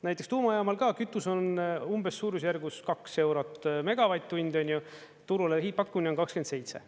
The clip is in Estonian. Näiteks tuumajaamal ka kütus on umbes suurusjärgus kaks eurot megavatt-tund, turule hiidpakkumine on 27.